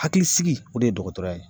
Hakilisigi o de ye dɔkɔtɔrɔya ye.